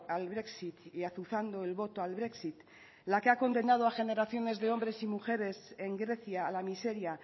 al brexit y azuzando el voto al brexit la que ha condenado a generaciones de hombres y mujeres en grecia a la miseria